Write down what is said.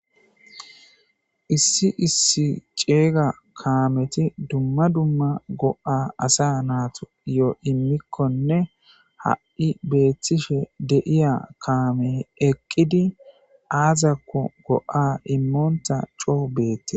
issi issi ceeyga kaameti dumma dumma go7a asa naato yoo immikkonne ha7i beethtishe deiya kaamey eqqidi aazakko go7a immoonta coou beette